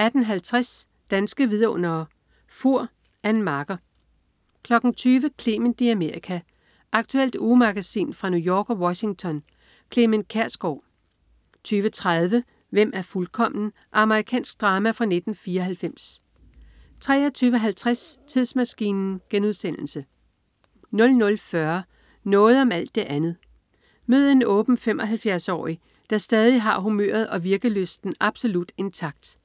18.50 Danske Vidundere: Fur. Ann Marker 20.00 Clement i Amerika. Aktuelt ugemagasin fra New York og Washington. Clement Kjersgaard 20.30 Hvem er fuldkommen? Amerikansk drama fra 1994 23.50 Tidsmaskinen* 00.40 Noget om alt det andet. Mød en åben 75-årig der stadig har humøret og virkelysten absolut intakt